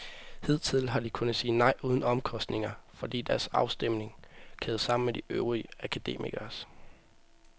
Hidtil har de kunnet sige nej uden omkostninger, fordi deres afstemning kædes sammen med de øvrige akademikeres.